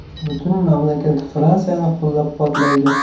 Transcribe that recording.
Butun mamlakat Fransiyani qo‘llab-quvvatlaydi.